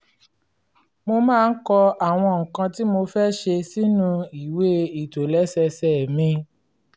mo máa ń kọ àwọn nǹkan tí mo fẹ́ ṣe sínú ìwé ìtòlẹ́sẹẹsẹ mi